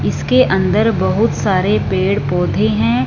इसके अंदर बहुत सारे पेड़ पौधे हैं।